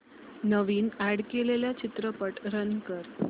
नवीन add केलेला चित्रपट run कर